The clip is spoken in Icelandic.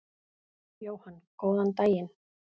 Jóhann: Góðan daginn.